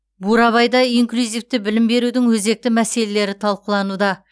бурабайда инклюзивті білім берудің өзекті мәселелері талқылануда